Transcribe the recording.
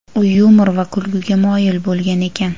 U yumor va kulguga moyil bo‘lgan ekan.